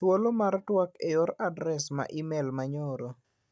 Thuolo mar tuak e yor adres mar imel ma nyoro.